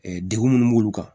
degun munnu b'olu kan